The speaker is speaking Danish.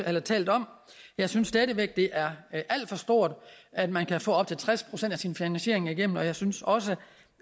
har talt om jeg synes stadig væk det er alt for stort at man kan få op til tres procent af sin finansiering igennem og jeg synes også